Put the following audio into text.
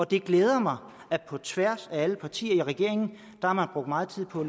det glæder mig at på tværs af alle partier i regeringen har man brugt meget tid på at